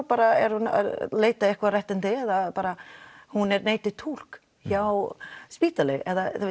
bara er hún að leita einhver réttindi eða bara hún er neitað túlk hjá spítalanum